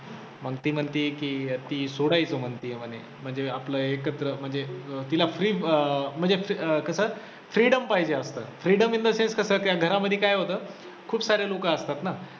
मग ती म्हणते की ती सोडायचे म्हणते म्हणे म्हणजे आपलं एकत्र म्हणजे तिला free अं म्हणजे कसं freedom पाहिजे असतं freedom in the since कसं त्या घरामधी काय होतं खूप सारे लोकं असतात ना